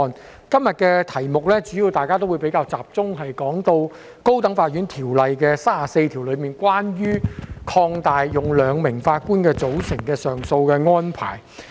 就今天的題目，大家主要比較集中討論《高等法院條例》第34條，關於擴大使用兩名法官組成的上訴安排。